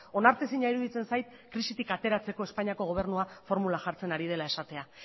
onartezina iruditzen zait krisitik ateratzeko espainiako gobernua formula jartzen ari dela esatea